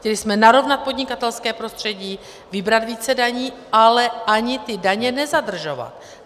Chtěli jsme narovnat podnikatelské prostředí, vybrat více daní, ale ani ty daně nezadržovat.